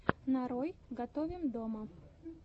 нарой готовим дома